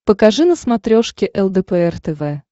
покажи на смотрешке лдпр тв